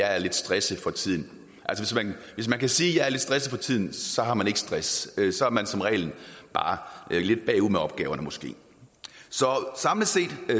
er lidt stresset for tiden hvis man kan sige at man er lidt stresset for tiden har man ikke stress så er man som regel bare lidt bagud med opgaverne måske så samlet set